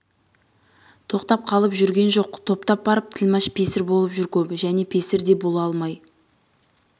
тоқтап қалып жүрген жоқ топтап барып тілмаш песір болып жүр көбі және песір де бола алмай